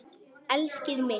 Elskið mitt!